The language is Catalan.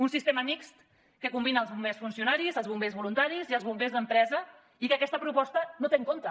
un sistema mixt que combina els bombers funcionaris els bombers voluntaris i els bombers d’empresa i que aquesta proposta no té en compte